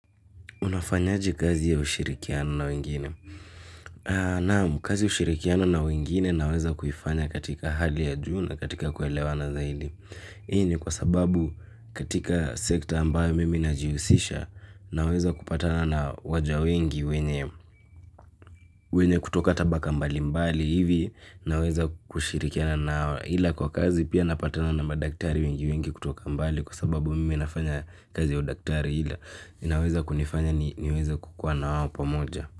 Unafanyaje kazi ya ushirikiano na wengine. Naam, kazi ya ushirikiano na wengine naweza kuifanya katika hali ya juu na katika kuelewana zaidi. Hii ni kwa sababu katika sekta ambayo mimi najihusisha naweza kupatana na waja wengi wenye kutoka tabaka mbali mbali hivi naweza kushirikiana nao ila kwa kazi pia napatana na madaktari wengi wengi kutoka mbali kwa sababu mimi nafanya kazi ya udaktari ila. Inaweza kunifanya niweza kukuwa na wao pamoja.